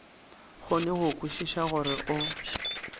kgone go kwešiša gore o